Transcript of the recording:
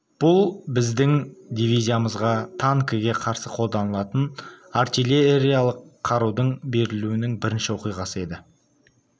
бұл біздің дивизиямызға танкіге қарсы қолданылатын артиллериялық қарудың берілуінің бірінші оқиғасы еді